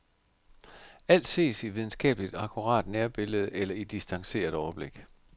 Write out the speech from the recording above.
Alt ses i videnskabeligt akkurat nærbillede eller i distanceret overblik.